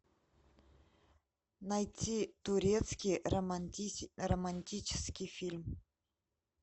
найти турецкий романтический фильм